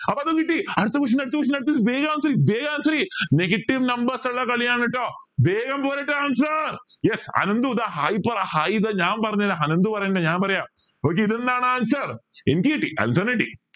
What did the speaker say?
അപ്പൊ അതും കിട്ടി അടുത്ത question അടുത്ത question അടുത്ത question വേഗം answer ചെയ് വേഗം answer ചെയ് negative numbers ഉള്ള കളിയാണ് കേട്ടോ വേഗോ പോരട്ടെ answers yes അനന്തു hi പറ hi താ ഞാൻ പറഞ്ഞെറ അനന്തു പറയണ്ട ഞാൻ പറയാം okay answer എനിക്ക് കിട്ടി അലൻ sir ന് കിട്ടി